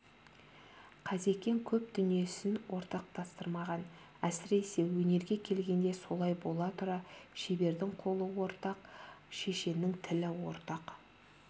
қазекең көп дүниесін ортақтастырмаған әсіресе өнерге келгенде солай бола тұра шебердің қолы ортақ шешеннің тілі ортақ